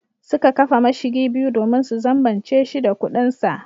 Suka kafa mashigi biyu domin su zambace shi da kudinsa.